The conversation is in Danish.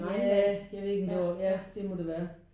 Jah jeg ved ikke om det var ja det må det være